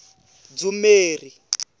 dzumeri